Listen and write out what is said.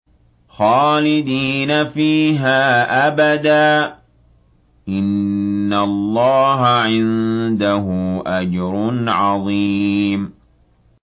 خَالِدِينَ فِيهَا أَبَدًا ۚ إِنَّ اللَّهَ عِندَهُ أَجْرٌ عَظِيمٌ